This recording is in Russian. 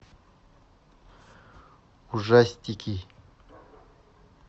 ужастики